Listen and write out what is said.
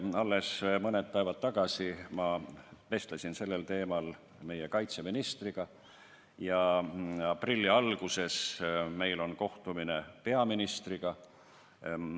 Alles mõni päev tagasi ma vestlesin sellel teemal meie kaitseministriga ja aprilli alguses on meil kohtumine peaministriga.